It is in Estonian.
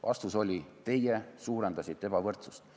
Vastus oli: te suurendasite ebavõrdsust.